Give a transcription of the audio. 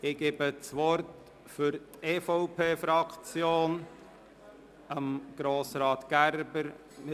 Ich erteile für die EVP-Fraktion Grossrat Gerber das Wort.